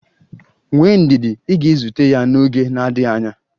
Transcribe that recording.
Nwee ndidi, ị ga-ezute ya n'oge na-adịghị anya.